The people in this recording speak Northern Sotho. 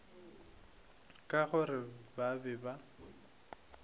ka gore ba be ba